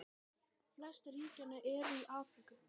Flest ríkjanna eru í Afríku.